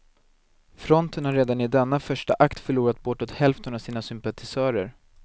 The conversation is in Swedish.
Fronten har redan i denna första akt förlorat bortåt hälften av sina sympatisörer.